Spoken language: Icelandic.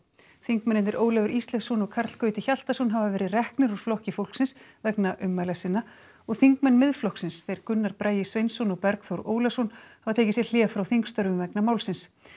þingmennirnir Ólafur Ísleifsson og Karl Gauti Hjaltason hafa verið reknir úr Flokki fólksins vegna ummæla sinna og þingmenn Miðflokksins þeir Gunnar Bragi Sveinsson og Bergþór Ólason hafa tekið sér hlé frá þingstörfum vegna málsins